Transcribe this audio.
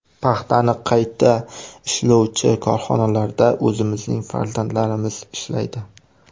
Paxtani qayta ishlovchi korxonalarda o‘zimizning farzandlarimiz ishlaydi.